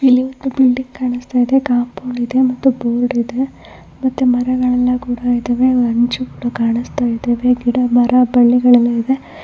ಇಲ್ಲಿ ಒಂದು ಬಿಲ್ಡಿಂಗ್ ಕಾಣ್ಸ್ತ ಇದೆ ಕಾಂಪೌಂಡ್ ಇದೆ ಮತ್ತೆ ಮರಗಳೆಲ್ಲ ಕೂಡ ಇದಾವೆ. ಹಂಚುಗಳು ಕಾಣುಸ್ತಾ ಇದಾವೆ. ಗಿಡ ಮರ ಬಳ್ಳಿಗಳೆಲ್ಲ ಇದಾವೆ.